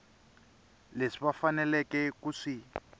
leswi va faneleke ku swi